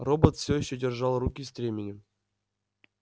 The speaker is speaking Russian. робот всё ещё держал руки стременем